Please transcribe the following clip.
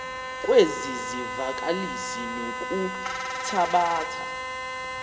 kwezi zivakalisi ngokuthabatha